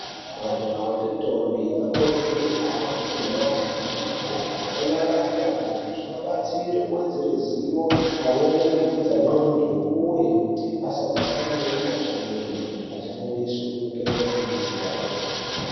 Majaha ngendombi anokurudzirwe kuhamba kumhatso dzine mabhuku onorave mabhuku zvinobatsire kuvhedzere zivo pamweni kukudza ndxondo, uye kuti asazosarire kumashure achifundiswe ngeadzidzisi yayo.